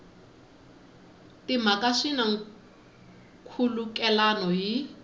timhaka swi na nkhulukelano hi